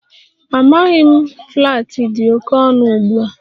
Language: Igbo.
Amaghị m, flats dị oke ọnụ ugbu a